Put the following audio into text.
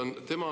Nii?